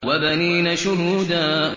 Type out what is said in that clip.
وَبَنِينَ شُهُودًا